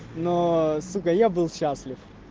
но сука я был счастлив